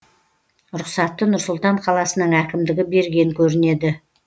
рұқсатты нұр сұлтан қаласының әкімдігі берген көрінеді